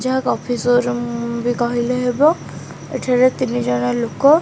ଯାହା coffee showroom ବି କହିଲେ ହେବ ଏଠାରେ ତିନି ଜଣ ଲୋକ --